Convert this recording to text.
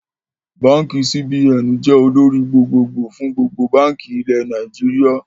Báànkì CBN jẹ́ olórí gbogbo gbòò fún gbogbo báànkì ilẹ̀ Nàìjíríà